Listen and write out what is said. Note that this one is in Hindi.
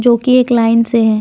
जोकि एक लाइन से है।